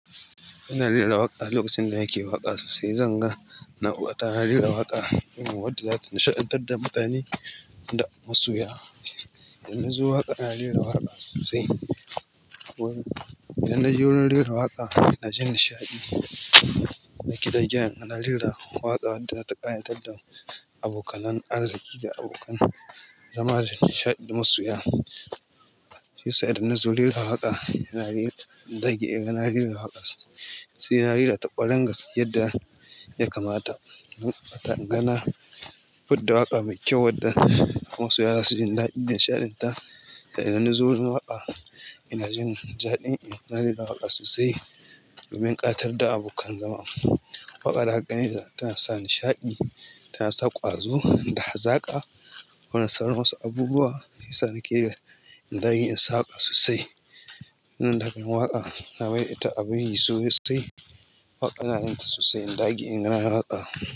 Ina rera waƙa. Lokacin da nake waƙa sosai, zan ga na ta rera waƙa wacce zata nishaɗantar da mutane da masoya. Idan na zo waƙa, ina rera waƙa sosai. Idan naje wurin rera waƙa, ina jin nishaɗi. Ina rera waƙa. Lokacin da nake waƙa sosai, zan ga nata rera waƙa wacce zata nishaɗantar da mutane da masoya. Sai da nazo rera waƙa, ina rera, in dage ina rera waƙa sosai, ina rera ta kwaran gaske yadda ya kamata. In ga na fiddle waƙa me kyau wadda masoya za su jindadin nishadinta idan nazo wurin waƙa, ina jindaɗi ina rera waƙa sosai domin ƙayatar da abokan zama. Waƙa da gani tana sa nishaɗi, tana sa ƙwazo da hazaƙa. Wannan tsaron wasu abubuwa yasa nake da in daƙe in sa waƙa sosai. Nan dakan waƙa na bai da abin yi sosai. Waƙa ina yinta sosai in dage i nayi waƙa.